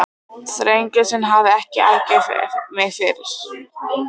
Þrengslin hafa ekki angrað mig fyrr.